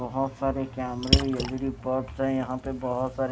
बहोत सारे कैमरे एल_ई_डी बल्ब से यहां पर बहुत सारे--